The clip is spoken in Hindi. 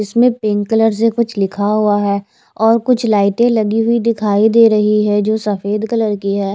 इसमें पिंक से कलर से कुछ लिखा हुआ है और कुछ लाइटे लगी हुई दिखाई दे रही है जो सफ़ेद कलर की है।